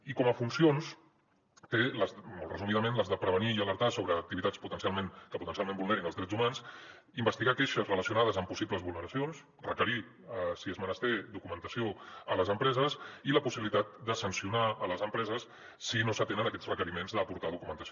i com a funcions té molt resumidament les de prevenir i alertar sobre activitats que potencialment vulnerin els drets humans investigar queixes relacionades amb possibles vulneracions requerir si és menester documentació a les empreses i la possibilitat de sancionar les empreses si no s’atenen aquests requeriments d’aportar documentació